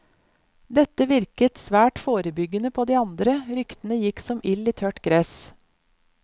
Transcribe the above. Dette virket svært forebyggende på de andre, ryktene gikk som ild i tørt gress.